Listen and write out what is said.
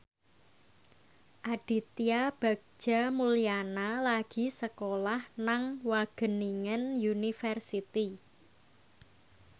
Aditya Bagja Mulyana lagi sekolah nang Wageningen University